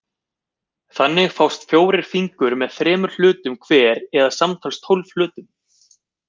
Þannig fást fjórir fingur með þremur hlutum hver eða samtals tólf hlutum.